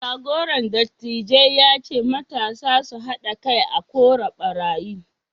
jagoran dattijai ya ce matasa su hada kai a kora ɓarayi